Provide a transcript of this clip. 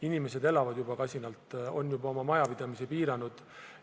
Inimesed elavad juba kasinalt, on juba oma majapidamisi piiranud.